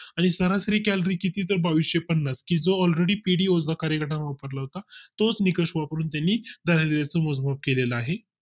आणि सरासरी calorie किती तर बाविशे पन्नास जो All ready पिढी कार्यक्रम वापरला होता तोच निकष वापरून त्यांनी दारिद्राचे मोजमाप केलेला आहे